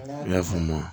I y'a faamu